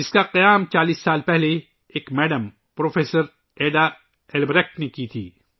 اس کا قیام 40 سال پہلے ایک خاتون پروفیسر ایڈا البریکٹ نے کیا تھا